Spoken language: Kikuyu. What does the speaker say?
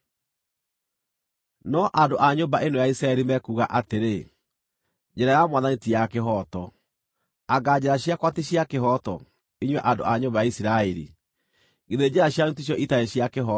No andũ a nyũmba ĩno ya Isiraeli mekuuga atĩrĩ, ‘Njĩra ya Mwathani ti ya kĩhooto.’ Anga njĩra ciakwa ti cia kĩhooto, inyuĩ andũ a nyũmba ya Isiraeli? Githĩ njĩra cianyu ticio itarĩ cia kĩhooto?